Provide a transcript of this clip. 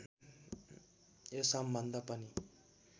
यो सम्बन्ध पनि